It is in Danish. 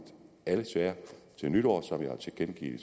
alle sager til nytår som jeg har tilkendegivet i